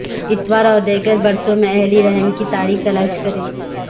اتوار اور دیگر برسوں میں الہی رحم کی تاریخ تلاش کریں